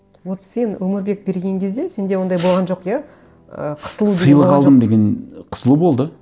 вот сен өмірбек берген кезде сенде ондай болған жоқ иә і қысылу сыйлық алдым деген қысылу болды